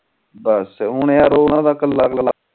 ਬਸ ਹੁਣ ਯਾਰ ਓਹਨਾ ਦਾ ਕਲਾ ਕਲਾ